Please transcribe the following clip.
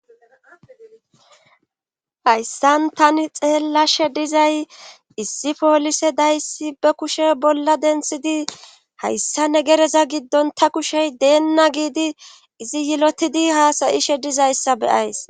hayssan tani xeellashe dizay issi poolise dayssi be kushe bolla denthidi hayssa negereza giddon ta kushey deenna giidi izi yilotidi haasayishe dizayssa beyays